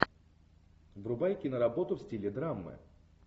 врубай киноработу в стиле драмы